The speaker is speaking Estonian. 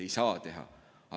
Ei saa teha.